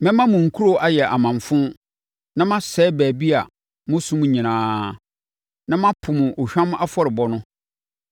Mɛma mo nkuro ayɛ amamfo na masɛe baabi a mosom nyinaa, na mapo mo ohwam afɔrebɔ no.